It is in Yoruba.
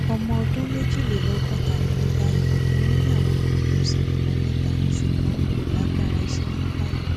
ọmọ ọdún méjìlélọgọta ni mí báyìí mo níyàwó kan mo sì bímọ mẹta ṣùgbọn n kò lágbára iṣẹ mọ báyìí